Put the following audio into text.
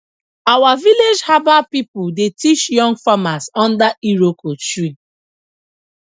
our village herbal people dey teach young farmers under iroko tree